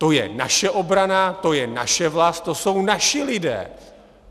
To je naše obrana, to je naše vlast, to jsou naši lidé.